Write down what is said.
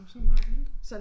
Og så hun bare væltet